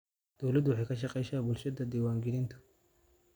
Dawladdu waxay kala shaqaysaa bulshada diiwaangelinta.